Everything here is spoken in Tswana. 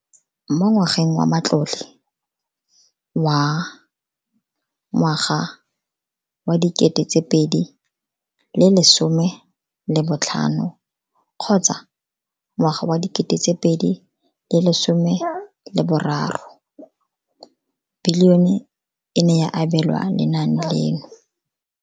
Mo ngwageng wa matlole wa 2015 kgotsa ngwaga wa 2016, bokanaka R5 703 bilione e ne ya abelwa lenaane leno.